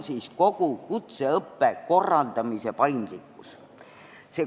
Esiteks, kogu kutseõppe korraldamise paindlikkus.